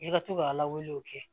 I ka to ka lawuli o kɛ